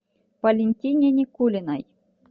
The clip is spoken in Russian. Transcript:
валентине никулиной